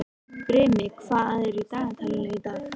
Brimi, hvað er í dagatalinu í dag?